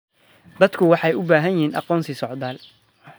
Dadku waxay u baahan yihiin aqoonsi socdaal.